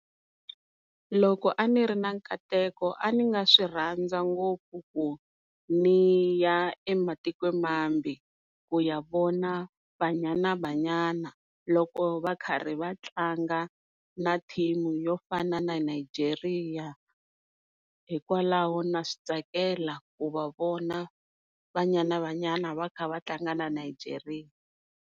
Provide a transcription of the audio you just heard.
Loko a ni ri na nkateko a ni nga swi rhandza ngopfu ku niya ematikweni mambe ku ya vona BanyanaBanyana loko va ri karhi va tlanga na team-u yo fana na Nigeria hikwalaho na swi tsakela ku va vona Banyana Banyana va kha va tlanga na Nigeria.